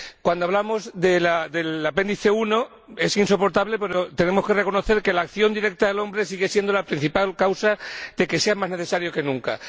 Cuando hablamos del Apéndice I es insoportable, pero tenemos que reconocer que la acción directa del hombre sigue siendo la principal causa de que sea más necesario que nunca.